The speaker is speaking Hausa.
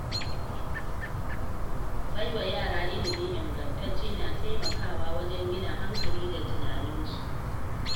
Baiwa yara ilimi ingantacce na taimakawa wajen gina hankali da tunaninsu.